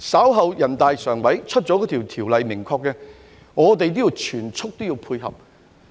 稍後，人大常委會公布相關條例的明確內容後，我們也要全速配合。